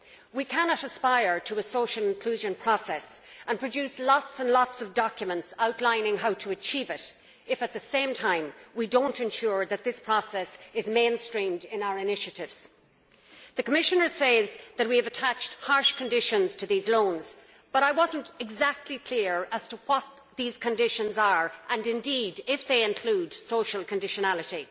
We cannot aspire to a social inclusion process and produce lots and lots of documents outlining how to achieve it if, at the same time, we do not ensure that this process is mainstreamed in our initiatives. The Commissioner says that we have attached harsh conditions to these loans, but I was not exactly clear as to what these conditions are and, indeed, if they include social conditionality.